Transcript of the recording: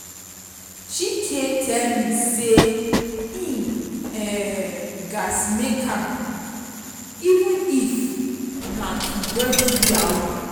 chike tell me say he um gats make am even if na to go do yahoo